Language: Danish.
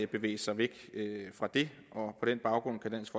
bevæge sig væk fra det og på den baggrund kan dansk